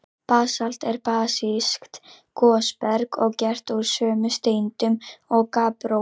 Basalt er basískt gosberg og gert úr sömu steindum og gabbró.